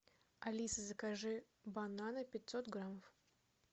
алиса закажи бананы пятьсот граммов